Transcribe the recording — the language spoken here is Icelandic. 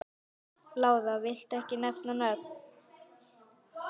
Lára: Viltu ekki nefna nöfn?